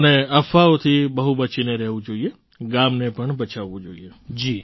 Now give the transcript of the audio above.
અને અફવાઓથી બહુ બચીને રહેવું જોઈએ ગામને પણ બચાવવું જોઈએ